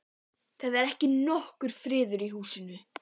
Það er ekki nokkur friður í húsinu.